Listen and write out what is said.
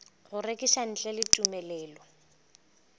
go rekiša ntle le tumelelo